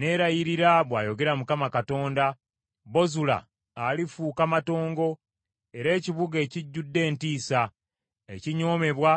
Neerayirira,” bw’ayogera Mukama Katonda nti, “Bozula alifuuka matongo era ekibuga ekijjudde entiisa, ekinyoomebwa